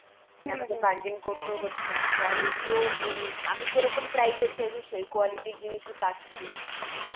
আমাদের bargain করতেও হচ্ছে না, quality ও ওই আমি যেরকম price এর চাইছি সেই quality র জিনিসই পাচ্ছি.